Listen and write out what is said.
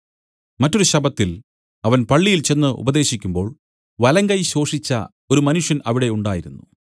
മറ്റൊരു ശബ്ബത്തിൽ അവൻ പള്ളിയിൽ ചെന്ന് ഉപദേശിക്കുമ്പോൾ വലങ്കൈ ശോഷിച്ച ഒരു മനുഷ്യൻ അവിടെ ഉണ്ടായിരുന്നു